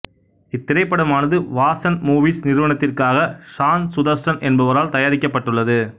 இத்திரைப்படமானது Vasan movies நிறுவனத்திற்காக சான் சுதர்சன் என்பவரால் தயாரிக்கப்பட்டுள்ளது